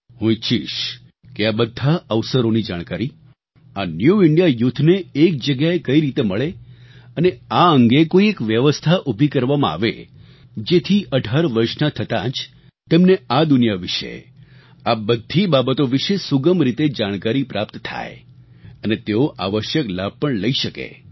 હું ઈચ્છીશ કે આ બધા અવસરોની જાણકારી આ ન્યૂ ઇન્ડિયા youthને એક જગ્યાએ કઈ રીતે મળે અને આ અંગે કોઈ એક વ્યવસ્થા ઊભી કરવામાં આવે જેથી 18 વર્ષના થતાં જ તેમને આ દુનિયા વિશે આ બધી બાબતો વિશે સુગમ રીતે જાણકારી પ્રાપ્ત થાય અને તેઓ આવશ્યક લાભ પણ લઈ શકે